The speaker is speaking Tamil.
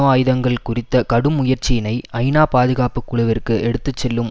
ஆயுதங்கள் குறித்த கடும் முயற்சியினை ஐநா பாதுகாப்பு குழுவிற்கு எடுத்து செல்லும்